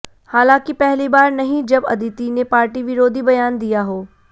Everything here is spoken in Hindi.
हालांकि पहली बार नही जब अदिति ने पार्टी विरोधी बयान दिया हो